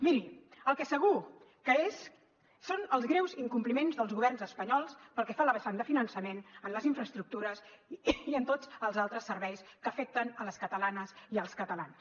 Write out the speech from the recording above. miri el que és segur que és són els greus incompliments dels governs espanyols pel que fa a la vessant de finançament en les infraestructures i en tots els altres serveis que afecten les catalanes i els catalans